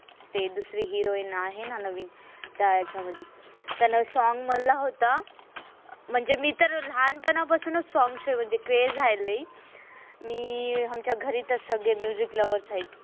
दुसरे heroine आहे ना नवीन तया याच्या मधी. त्यांन song म्हणला होता. मी तर लहानपणापासून song ची म्हणजे craze आहे लय मी आमच्या घरी त सगळे music lovers आहे.